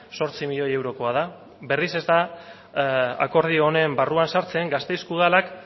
zortzi milioi eurokoa da berriz ez da akordio honen barruan sartzen gasteizko udalak